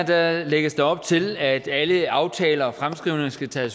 her lægges der op til at alle aftaler og fremskrivninger skal tage